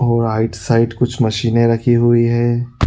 और right side कुछ मशीने रखी हुई हैं।